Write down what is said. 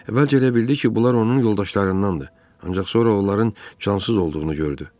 Əvvəlcə elə bildi ki, bunlar onun yoldaşlarındandır, ancaq sonra onların cansız olduğunu gördü.